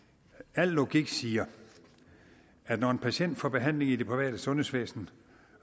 al logik siger at når en patient får behandling i det private sundhedsvæsen